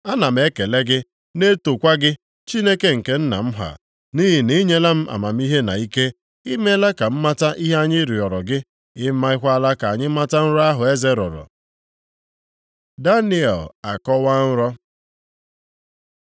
Ana m ekele gị, na-etokwa gị, Chineke nke nna m ha, nʼihi na i nyela m amamihe na ike. I meela ka m mata ihe anyị rịọrọ gị, i mekwala ka anyị mata nrọ ahụ eze rọrọ.” Daniel Akọwaa nrọ